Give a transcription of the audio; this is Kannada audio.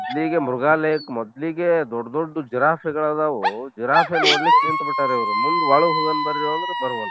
ಮೊದ್ಲಿಗೆ ಮೃಗಾಲಯಕ್ ಮೊದ್ಲಿಗೆ ದೊಡ್ಡ ದೊಡ್ಡವು ಜಿರಾಫೆಗಳ ಅದಾವು ಜಿರಾಫೆ ನೋಡ್ಲಿಕ್ ನಿಂತ ಬಿಟ್ಟಾರ ಇವ್ರು ಮುಂದ್ ಒಳಗ್ ಹೋಗೋನ ಬರೋ ಅಂದ್ರ ಬರ್ವಲ್ರ.